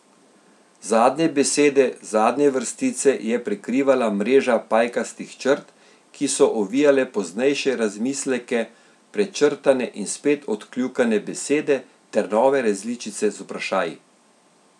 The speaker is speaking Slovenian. Zadnje besede zadnje vrstice je prekrivala mreža pajkastih črt, ki so ovijale poznejše razmisleke, prečrtane in spet odkljukane besede ter nove različice z vprašaji.